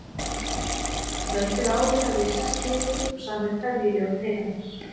Kvöldið áður hafði ég sest niður og samið kveðjuljóð til hennar.